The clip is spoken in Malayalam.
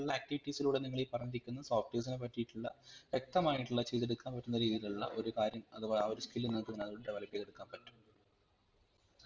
ഉള്ള activities ലൂടെ നിങ്ങൾ ഈ പറഞ്ഞിരിക്കുന്ന softwares നെ പറ്റീട്ടുള്ള വെക്തമായിട്ടുള്ള ചെയ്തെടുക്കാൻ പറ്റുന്ന രീതിയിലുള്ള ഒരു കാര്യം അതുപോലെ ആ ഒരു skill നിങ്ങക് develop ചെയ്തെടുക്കാൻ പറ്റും